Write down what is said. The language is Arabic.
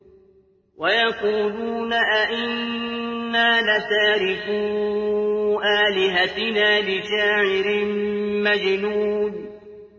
وَيَقُولُونَ أَئِنَّا لَتَارِكُو آلِهَتِنَا لِشَاعِرٍ مَّجْنُونٍ